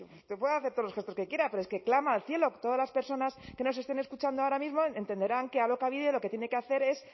sí sí que puede hacer todos los gestos que quiera pero es que clama al cielo todas las personas que nos estén escuchando ahora mismo entenderán que alokabide lo que tiene que hacer es